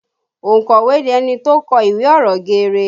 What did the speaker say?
Ònkọ̀wé ni ẹni tó kọ ìwé ọ̀rọ̀ geere